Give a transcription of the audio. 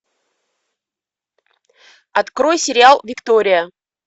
открой сериал виктория